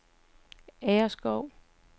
Agerskov